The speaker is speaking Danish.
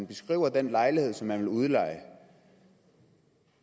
beskrive den lejlighed som jeg vil udleje